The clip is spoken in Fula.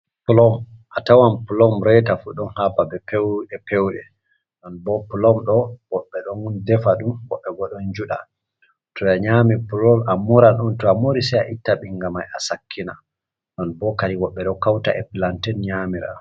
Pulom a tawan pulom reta fu ɗon ha babe pewɗe pewɗe, ɗon bo pulomɗo wooɓe ɗon defa dum wooɓe bo ɗon juɗa, to ya nyami pulol a mura ɗon to a muri se a itta ɓingama mai a sakkina non boo kadi wooɓe ɗo hauta e planten nyamira.